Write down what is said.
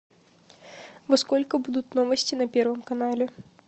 во сколько будут новости на первом канале